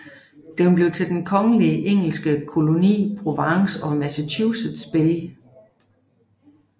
Den blev til den kongelige engelske koloni Province of Massachusetts Bay